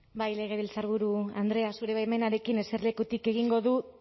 bai legebiltzarburu andrea zure baimenarekin eserlekutik egingo dut